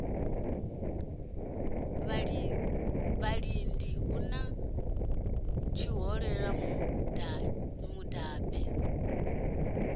vhalidi hu na tshihoṱola mudabe